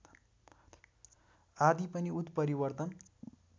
आदि पनि उत्परिवर्तन